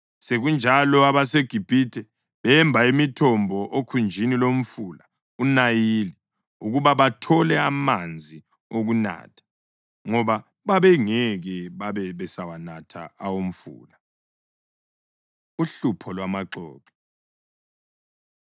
Sekunjalo abaseGibhithe bemba imithombo okhunjini lomfula uNayili ukuba bathole amanzi okunatha, ngoba babengeke babe besawanatha awomfula. Uhlupho Lwamaxoxo